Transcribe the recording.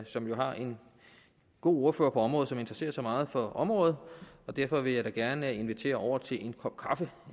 som jo har en god ordfører på området og som interesserer sig meget for området og derfor vil jeg da gerne invitere over til en kop kaffe